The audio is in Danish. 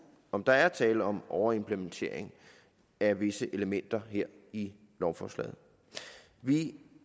om der er tale om en overimplementering af visse elementer her i lovforslaget vi